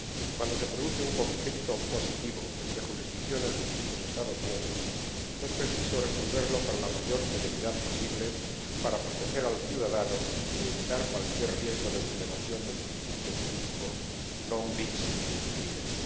Cuando se produce un conflicto positivo entre jurisdicciones de distintos Estados miembros, es preciso resolverlo con la mayor celeridad posible, para proteger al ciudadano y evitar cualquier riesgo de vulneración del principio jurídico non bis in idem.